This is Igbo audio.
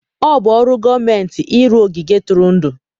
Ọ bụ ọrụ gọọmentị ịrụ ogige ntụrụndụ.